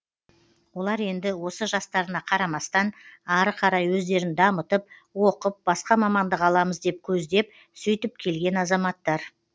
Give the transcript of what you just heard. олар енді осы жастарына қарамастан ары қарай өздерін дамытып оқып басқа мамандық аламыз деп көздеп сөйтіп келген азаматтар